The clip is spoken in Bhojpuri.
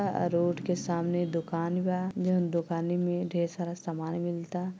अ अ रोड के सामने दुकान बा जोन दुकान में ढेर सारा समान मिलता।